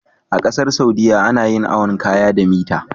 A ƙasar saudia ana yin awon kaya da mita